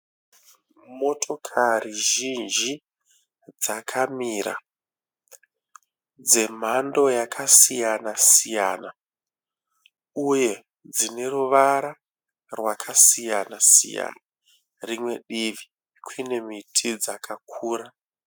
Motokari zhinji dzakamira dzemhando yakasiyana siyana uye dzine ruvara rwakasiyana siyana. Rimwe divi kune miti dzakakura.